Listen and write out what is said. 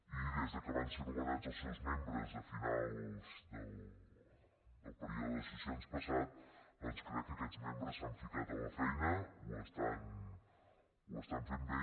i des que van ser nomenats els seus membres a finals del període de sessions passat crec que aquests membres s’han ficat a la feina ho fan bé